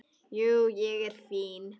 Jú, ég er fínn.